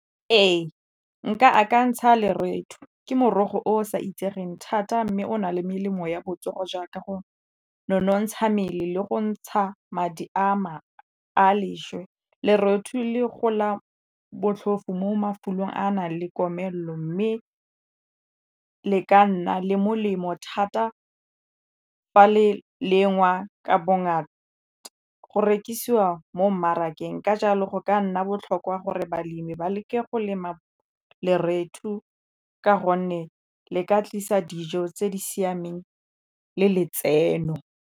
Ee nka akantsha ke morogo o sa itsegeng thata mme o na le melemo ya botsogo jaaka go nonontsha mmele le go ntsha madi a a leswe. Lerothu le gola botlhofo mo mafelong a a nang le komelelo mme e ka nna le molemo thata fa le lengwa ka bongata go rekisiwa mo mmarakeng ka jalo go ka nna botlhokwa gore balemi ba leke go lema lerethu two ka gonne le ka tlisa dijo tse di siameng le letseno.